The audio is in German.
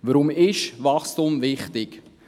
Warum ist Wachstum wichtig?